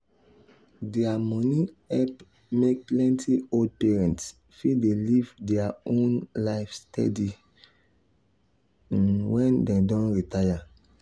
their money help make plenty old parents fit dey live their own life steady um when dem don retire.